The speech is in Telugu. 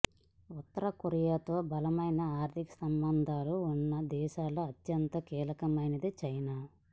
ఉత్తర కొరియాతో బలమైన ఆర్థిక సంబంధాలు ఉన్న దేశాల్లో అత్యంత కీలకమైనది చైనా